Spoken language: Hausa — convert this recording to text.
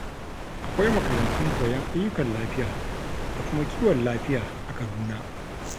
Akwai makarantun koyon ayyukan lafiya da kuma kiwon lafiya a Kaduna.